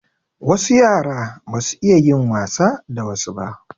Wasu yara ba su iya yin wasa da wasu ba.